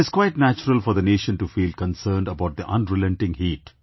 It is quite natural for the nation to feel concerned about the unrelenting heat